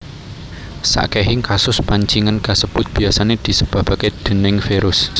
Sakehing kasus pancingen kasebut biyasane disebabake déning virus